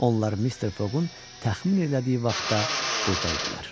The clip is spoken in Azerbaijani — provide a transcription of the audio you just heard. Onlar Mister Foqun təxmin elədiyi vaxtda burda idilər.